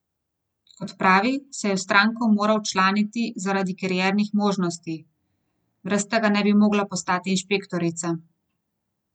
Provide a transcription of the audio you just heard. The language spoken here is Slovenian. Kot pravi, se je v stranko morala včlaniti zaradi kariernih možnosti: 'Brez tega ne bi mogla postati inšpektorica.